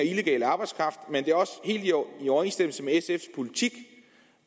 helt i orden i overensstemmelse med sfs politik